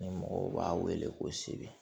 Ni mɔgɔw b'a wele ko seb